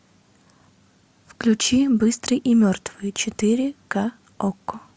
включи быстрый и мертвый четыре ка окко